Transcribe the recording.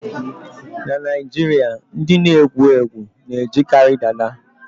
. Na Naijiria, ndị na-egwu egwu na-ejikarị dada